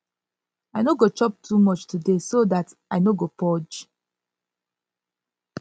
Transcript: i no go chop too much today so dat i no go purge